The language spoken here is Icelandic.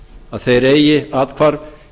að þeir eigi athvarf